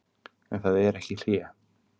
En það er ekki hlé.